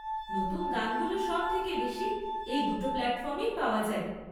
নতুন গানগুলো সব থেকে বেশি এই দুটো প্ল্যাটফর্মেই পাওয়া যায়।